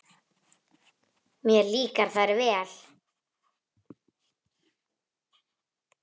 Mér líka þær vel.